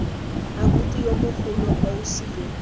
abuti yo mogolo ausi yo